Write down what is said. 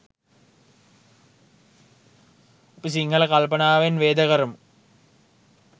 අපි සිංහල කල්පනාවෙන් වේද කරමු